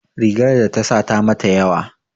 Rigar da ta sa ta mata yawa